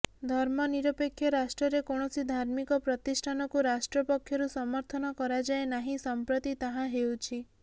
ଧର୍ମନିରପେକ୍ଷ ରାଷ୍ଟ୍ରରେ କୌଣସି ଧାର୍ମିକ ପ୍ରତିଷ୍ଠାନକୁ ରାଷ୍ଟ୍ର ପକ୍ଷରୁ ସମର୍ଥନ କରାଯାଏ ନାହିଁ ସଂପ୍ରତି ତାହା ହେଉଛି